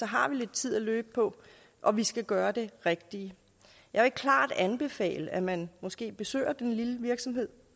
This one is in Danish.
har vi lidt tid at løbe på og vi skal gøre det rigtige jeg vil klart anbefale at man måske besøger den lille virksomhed